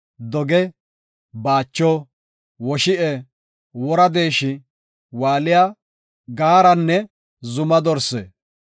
doge, baacho, woshi7e, wora deeshi, waaliya, gaaranne zuma dorse.